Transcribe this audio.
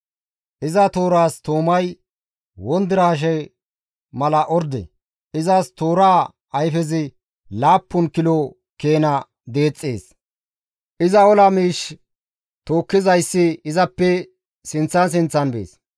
Iza tooraas toomay wondiraashe mala orde; izas tooraa ayfezi laappun kilo keena deexxees; iza ola miish tookkizayssi izappe sinththan sinththan bees.